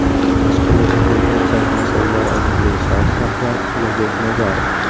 Tashqi mehnat migratsiyasi masalalari agentligi sobiq rahbari Ulug‘bek Nazarov.